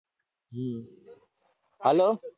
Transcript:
હાલો